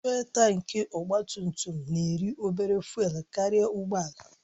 Fụ́élú tankị ọgba tum tum na-eri obere fụ́élú karịa ụgbọ ala